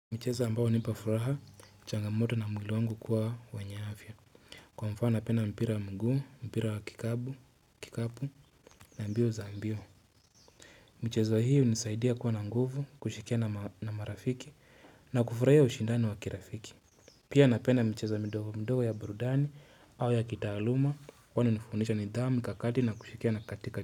Michezo ambayo hunipa furaha, changamoto na mwili wangu kuwa wenye afya. Kwa mfano napenda mpira mguu, mpira wakikapu, kikapu na mbio za mbio. Michezo hiyo hunisaidia kuwa na nguvu, kushikia na marafiki na kufurahia ushindani wakirafiki. Pia napendana micheza mdogo mdogo ya burudani, au ya kitaaluma, wani nifundisha nidhamu kakati na kushikia na katika.